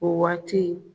O waati